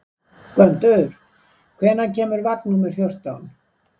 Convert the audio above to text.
Gvöndur, hvenær kemur vagn númer fjórtán?